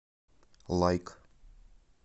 лайк